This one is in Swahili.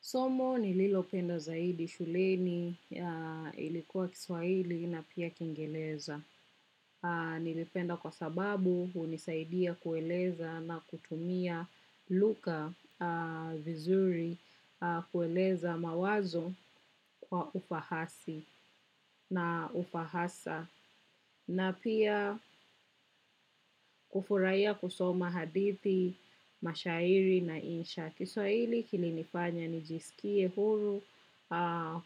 Somo nililopenda zaidi shuleni ilikuwa kiswahili na pia kiingereza. Nilipenda kwa sababu hunisaidia kueleza na kutumia lugha vizuri, kueleza mawazo kwa ufahasi na ufahasa. Na pia kufurahia kusoma hadithi, mashairi na insha. Kiswahili kilinifanya nijisikie huru